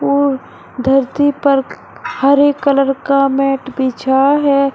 और धरती पर हरे कलर का मैट बिछा है।